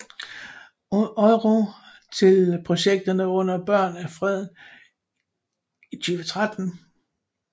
EUR til projekterne under Børn af Freden i 2013